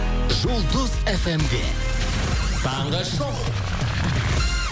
жұлдыз фм де таңғы шоу